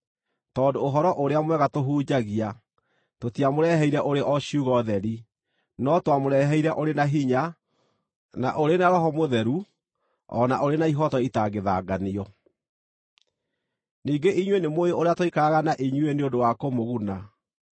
tondũ Ũhoro-ũrĩa-Mwega tũhunjagia, tũtiamũreheire ũrĩ o ciugo theri, no twamũreheire ũrĩ na hinya, na ũrĩ na Roho Mũtheru, o na ũrĩ na ihooto itangĩthanganio. Ningĩ inyuĩ nĩmũũĩ ũrĩa twaikaraga na inyuĩ nĩ ũndũ wa kũmũguna.